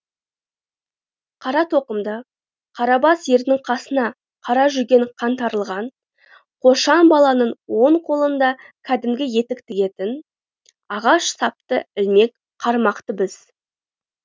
қара тоқымды қара бас ердің қасына қара жүген қаңтарылған қошан баланың оң қолында кәдімгі етік тігетін ағаш сапты ілмек қармақты біз